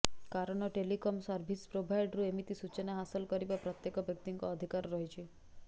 କାରଣ telecom service ପ୍ରୋଭାଇଡରୁ ଏମିତି ସୂଚନା ହାସଲ କରିବା ପ୍ରତ୍ୟେକ ବ୍ୟକ୍ତିଙ୍କ ଅଧିକାର ରହିଛି